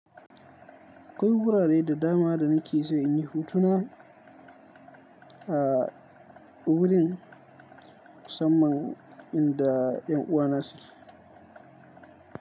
Akwai wurare da dama da nake so in yi hutuna a wurin musamman inda 'yan uwana suke.